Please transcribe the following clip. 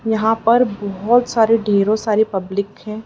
यहां पर बहोत ढेरों सारी पब्लिक है।